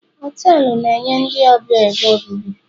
họtelu na-enye ndị ọbịa ebe obibi